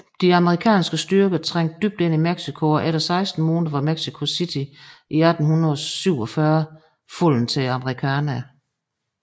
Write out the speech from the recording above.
De amerikanske styrker trængte dybt ind i Mexico og efter 16 måneder var Mexico City i 1847 faldet til amerikanerne